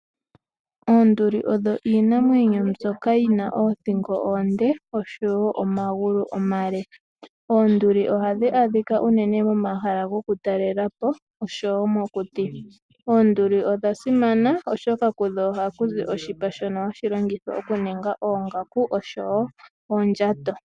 Oonduli odho iinamwenyo mbyoka yi na oothingo oonde oshowo omagulu omale. Oonduli ohadhi adhika unene momahala gokutalela po, oshowo mokuti. Oonduli odha simana, oshoka kudho ohakuzi oshipa shono hashi longithwa okuninga oongaku oshowo oondjato.